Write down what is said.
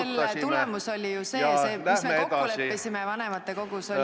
Jaa, aga selle tulemus oli ju lihtsalt see, mis me kokku leppisime vanematekogus, et ...